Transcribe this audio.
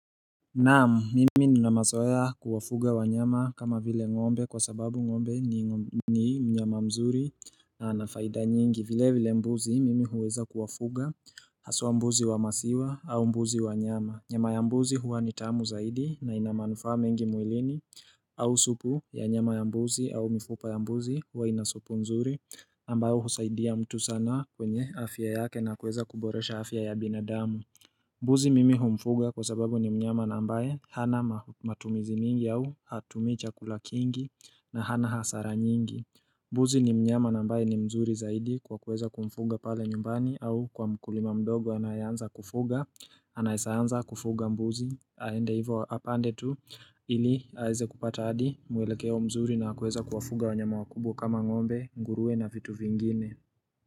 Naamu, mimi nina mazoya kuwafuga wa nyama kama vile ngombe kwa sababu ngombe ni mnyama mzuri na anafaida nyingi. Vile vile mbuzi mimi huweza kuwafuga asuwa mbuzi wa masiwa au mbuzi wa nyama. Nyama ya mbuzi huwa ni tamu zaidi na inamanufa mengi muilini au supu ya nyama ya mbuzi au mifupa ya mbuzi huwa inasupu nzuri ambayo husaidia mtu sana kwenye afya yake na kuweza kuboresha afya ya binadamu. Mbuzi mimi humfuga kwa sababu ni mnyama na mbae, hana matumizi mingi au hatumi chakula kingi na hana hasara nyingi mbuzi ni mnyama na ambae ni mzuri zaidi kwa kuweza kumfuga pale nyumbani au kwa mkulima mdogo anayanza kufuga Anaeseanza kufuga mbuzi, haende hivo apande tu, ili haize kupata adi, muelekeo mzuri na kuweza kufuga wanyama wakubu kama ngombe, ngurue na vitu vingine.